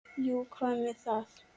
Jú, og hvað með það?